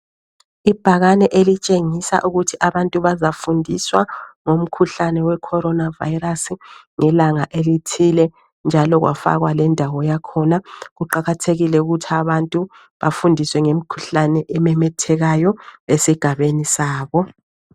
Ibhakane elitshengisa ukuthi abantu bazafundiswa ngomkhuhlane weCorona Virus ngelanga elithile njalo kwafakwa lendawo yakhona .Kuqakathekile ukuthi abantu bafundiswe ngemikhuhlane ememethekayo esigabeni sabo.